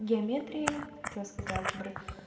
геометрия хотела сказать алгебры